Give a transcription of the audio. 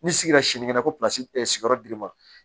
N'i sigira sinikɛnɛ ko sigiyɔrɔ dibi ma